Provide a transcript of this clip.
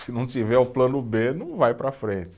Se não tiver o plano bê, não vai para frente.